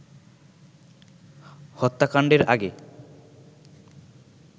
হত্যাকাণ্ডের আগে